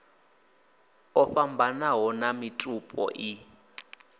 o fhambananaho a mitupo i